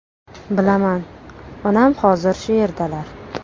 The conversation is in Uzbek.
Bilaman, onam hozir shu yerdalar.